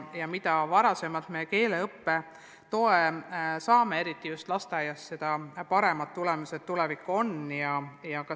Ja mida varem me neile keeleõppe toe saame, eriti just lasteaias, seda paremad tulemused nende tuleviku seisukohalt on.